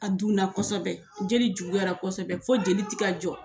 A dunna kosɛbɛ jeli juguyara kosɛbɛ fo jeli ti ka jɔ.